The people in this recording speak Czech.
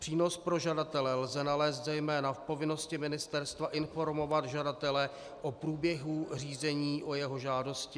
Přínos pro žadatele lze nalézt zejména v povinnosti ministerstva informovat žadatele o průběhu řízení o jeho žádosti.